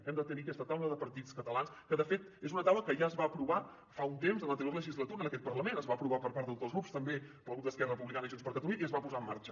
hem de tenir aquesta taula de partits catalans que de fet és una taula que ja es va aprovar fa un temps en l’anterior legislatura en aquest parlament es va aprovar per part de tots els grups també pel grup d’esquerra republicana i junts per catalunya i es va posar en marxa